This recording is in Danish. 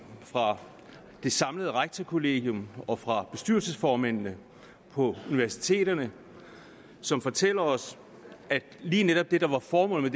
fra det samlede rektorkollegium og fra bestyrelsesformændene på universiteterne som fortæller os at lige netop det der var formålet